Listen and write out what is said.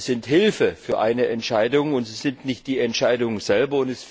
Sie sind Hilfe für eine Entscheidung, sie sind nicht die Entscheidung selbst.